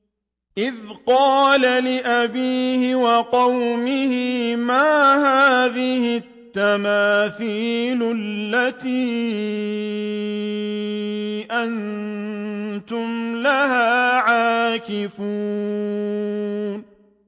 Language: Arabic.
إِذْ قَالَ لِأَبِيهِ وَقَوْمِهِ مَا هَٰذِهِ التَّمَاثِيلُ الَّتِي أَنتُمْ لَهَا عَاكِفُونَ